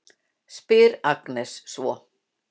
spyr Agnes svo.